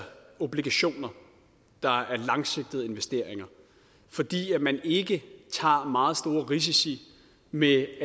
obligationer der er langsigtede investeringer fordi man ikke tager meget store risici med